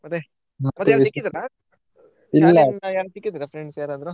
ಮತ್ತೆ ಯಾರಾದ್ರೂ ಸಿಕ್ಕಿದ್ರ ಶಾಲೆಯಿಂದ ಯಾರಾದ್ರು friends ಯಾರಾದ್ರು?